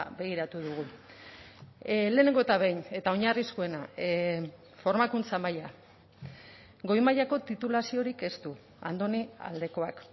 begiratu dugu lehenengo eta behin eta oinarrizkoena formakuntza maila goi mailako titulaziorik ez du andoni aldekoak